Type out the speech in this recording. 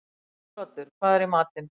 Siguroddur, hvað er í matinn?